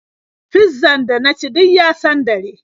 Fizzan da na ci duk ya sandare.